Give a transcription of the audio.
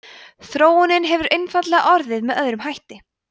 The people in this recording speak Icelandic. þróunin hefur einfaldlega orðið með öðrum hætti